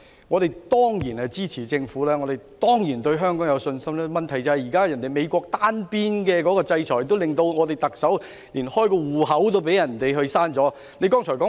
我們當然支持政府，亦當然對香港有信心，但問題是，現時美國的單邊制裁令特首被取消銀行帳戶。